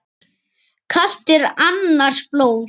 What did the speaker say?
Kalt er annars blóð.